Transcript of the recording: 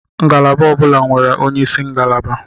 Ngalaba ọ bụla nwere onyeisi ngalaba.